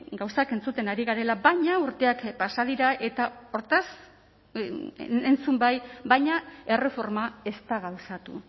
gauzak entzuten ari garela baina urteak pasa dira eta hortaz entzun bai baina erreforma ez da gauzatu